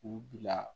U bila